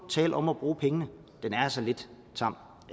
tale om at bruge pengene det er altså lidt tamt